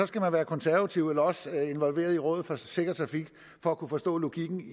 skal man være konservativ eller også være involveret i rådet for sikker trafik for at kunne forstå logikken